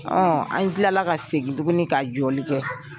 an tilala ka segin tuguni ka jɔli kɛ.